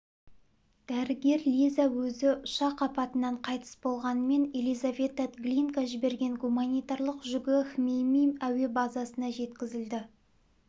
дәрігер лиза өзі ұшақ апатынан қайтыс болғанымен елизавета глинка жіберген гуманитарлық жүгі хмеймим әуе базасына жеткізілді